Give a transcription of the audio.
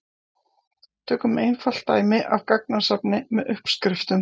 Tökum einfalt dæmi af gagnasafni með uppskriftum.